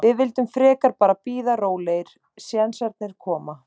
Við vildum frekar bara bíða rólegir, sénsarnir koma.